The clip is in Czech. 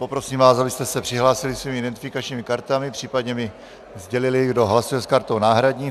Poprosím vás, abyste se přihlásili svými identifikačními kartami, případně mi sdělili, kdo hlasuje s kartou náhradní.